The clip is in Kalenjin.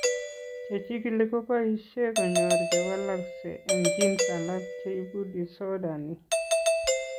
Che chigili ko boisie ko ny'or che walakse eng' genes alak che ibu disorder ni.